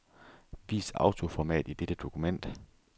Vis autoformat i dette dokument.